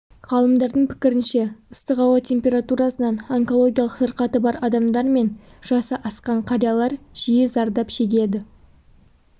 ғалымдардың пікірінше ыстық ауа температурасынан онкологиялық сырқаты бар адамдар мен жасы асқан қариялар жиі зардап шегеді